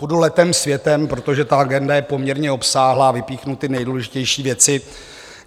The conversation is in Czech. Budu letem světem, protože ta agenda je poměrně obsáhlá, vypíchnu ty nejdůležitější věci.